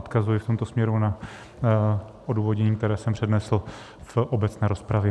Odkazuji v tomto směru na odůvodnění, které jsem přednesl v obecné rozpravě.